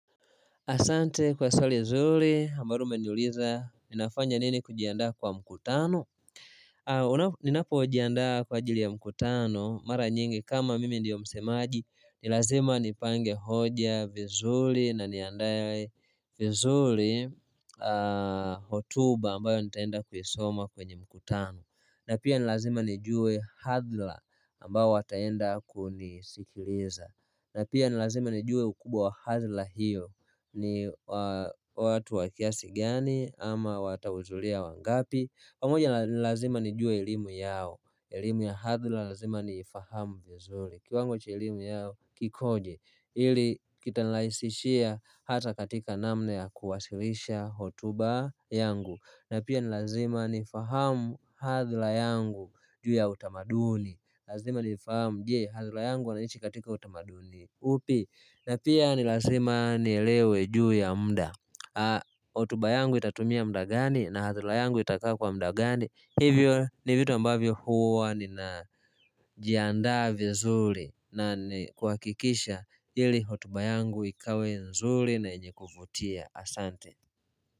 Asante kwa swali zuri ambalo umeniuliza, ninafanya nini kujiandaa kwa mkutano? Ninapo jiandaa kwa ajili ya mkutano, mara nyingi kama mimi ndiyo msemaji, nilazima nipange hoja vizuli na niandaye vizuli, hotuba ambayo nitaenda kuisoma kwenye mkutano. Na pia nilazima nijue hathla ambao wataenda kunisikiliza. Na pia nilazima nijue ukubwa wa hathla hiyo. Ni watu wa kiasi gani ama watahuzulia wangapi. Pamoja ni lazima nijue elimu yao. Elimu ya hathla lazima niifahamu vizuli l. Kiwango cha elimu yao kikoje ili kita nilaisishia hata katika namna ya kuwasilisha hotuba. Yangu. Na pia nilazima nifahamu hadhula yangu juu ya utamaduni. Lazima nifahamu je hadhula yangu wanaishi katika utamaduni upi. Na pia nilazima nielewe juu ya mda. Hotuba yangu itatumia mda gani na hadhula yangu itakaa kwa mda gani. Hivyo ni vitu ambavyo huwa ninajiandaa vizuli. Na ni kuhakikisha ili hotuba yangu ikawe nzuli na yenye kuvutia asante.